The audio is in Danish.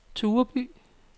Tureby